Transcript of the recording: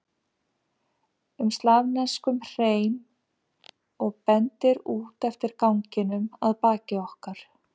um slavneskum hreim og bendir út eftir ganginum að baki okkur.